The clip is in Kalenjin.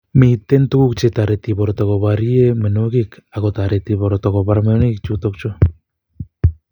Miten tuguk che toreti borto koborien myonwokik ak kotoret broto kobar myonwokik chutok chu